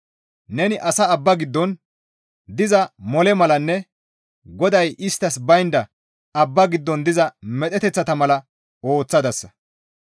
Neni asaa abba giddon diza mole malanne GODAY isttas baynda abba giddon diza medheteththa mala ooththadasa.